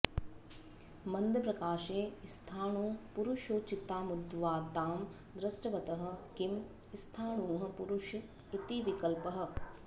मन्दप्रकाशे स्थाणुपुरुषोचितामूर्ध्वतां दृष्टवतः किं स्थाणुः पुरुष इति विकल्पः